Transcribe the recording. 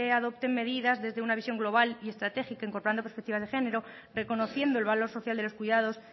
adopten medidas desde una visión global y estratégica incorporando perspectivas de género reconociendo el valor social de los cuidados